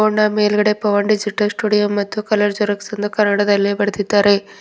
ಹೊಂಡಾ ಮೇಲ್ಗಡೆ Pavan digital studio ಮತ್ತು colour xerox ಎಂದು ಕನ್ನಡದಲ್ಲಿ ಬರೆದಿದ್ದಾರೆ.